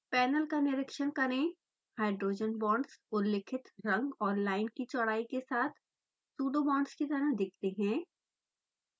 panel का निरिक्षण करें हाइड्रोजन बांड्स उल्लिखित रंग और लाइन की चौड़ाई के साथ pseudo बांड्स की तरह दिखते हैं